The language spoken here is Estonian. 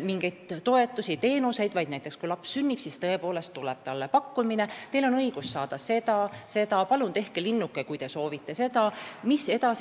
mingeid toetusi-teenuseid, vaid näiteks kui laps sünnib, siis tuleb talle pakkumine, et teil on õigus saada seda ja seda, palun tehke linnuke, kui te soovite seda või teist.